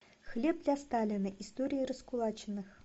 хлеб для сталина история раскулаченных